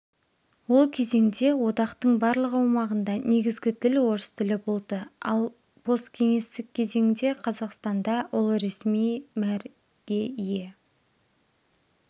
ол кезеңде одақтың барлық аумағында негізгі тіл орыс тілі болды ал посткеңестік кезеңде қазақстанда ол ресми мәр ге ие